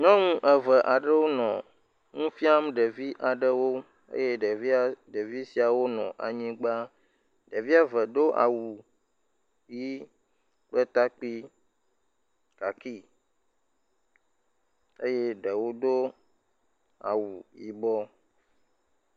Nyɔnu eve aɖewo nɔ nu fiam ɖevi aɖewo eye ɖeviawo, ɖevi siawo nɔ anyigba, ɖevi eve do awu ʋi kple takpui, kaki eye ɖewo do awu yibɔ.